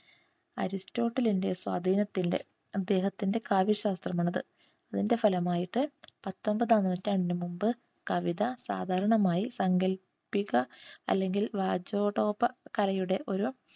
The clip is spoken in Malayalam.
അരിസ്റ്റോട്ടിലിന്റെ സ്വാധീനത്തിന്റെ അദ്ദേഹത്തിൻറെ കാവ്യശാസ്ത്രം എന്നത് ഇതിന്റെ ഫലമായിട്ട് പത്തൊമ്പതാം നൂറ്റാണ്ടിനു മുൻപ് കവിത സാധാരണമായി സാങ്കല്പിക അല്ലെങ്കിൽ കലയുടെ ഒരു